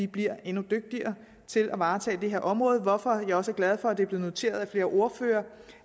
bliver endnu dygtigere til at varetage dette område hvorfor vi også er glade for at det er blevet noteret af flere ordførere